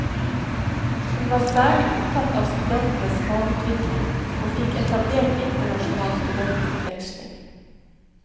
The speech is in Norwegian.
Hun var særlig opptatt av studentenes fagutvikling, og fikk etablert internasjonal studentutveksling.